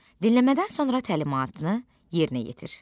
Dinləmədən sonra təlimatını yerinə yetir.